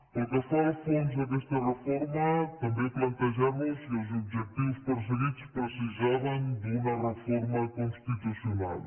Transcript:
pel que fa al fons d’aquesta reforma també plantejar nos si els objectius perseguits precisaven d’una reforma constitucional